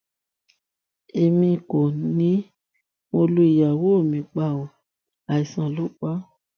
èmi kò ní mo lu ìyàwó mi pa ọ àìsàn lọ pa á